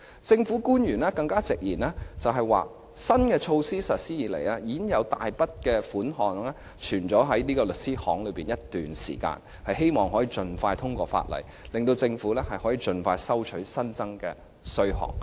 政府官員更直言，新措施實施以來，已經有大筆稅款存在律師樓一段時間，希望可以盡快通過《條例草案》，令政府可以盡快收取稅款。